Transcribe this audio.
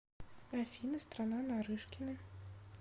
афина страна нарышкины